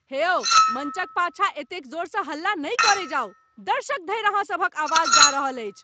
हे यौ, मञ्चक पाछाँ एतेक जोरसँ हल्ला नहि करै जाउ। दर्शक धरि अहाँ सभक आवाज जा रहल अछि।